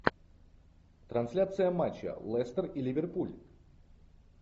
трансляция матча лестер и ливерпуль